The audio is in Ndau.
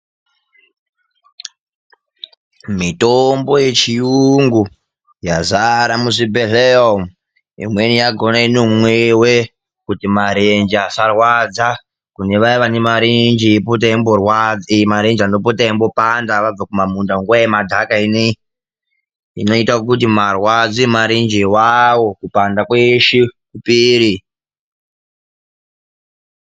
Mitombo yechiyungu yazare muzvibhehlera umwu, imweni yakhona inomwiwe kuti marenje asarwadzwa, kune vaya vane marenje eipota eimborwadzwa, anopota eimborwadza vabve kumunda nguwa yemadhaka ineyi, inoite kuti marwadzo emarenje awawo kupanda kweshe kupere.